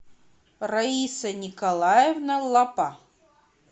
раиса николаевна лапа